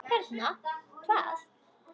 Hérna, hvað?